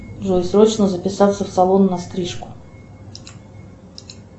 джой срочно записаться в салон на стрижку